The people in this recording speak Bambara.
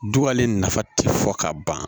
Dugalen nafa ti fɔ ka ban